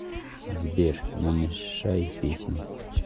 сбер намешай песни